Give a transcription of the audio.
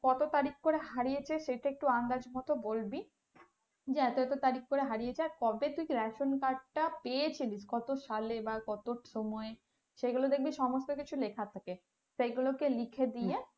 কত তারিখ করে হারিয়েছে সেটা একটু আন্দাজ মতো বলবি যে এত এত তারিখ করে হারিয়েছে আর কবে তুই ration card টা পেয়েছিলি কত সালে বা কত সময়ে সেগুলো দেখবি সমস্ত কিছু লেখা থাকে সেগুলোকে লিখে দিয়ে,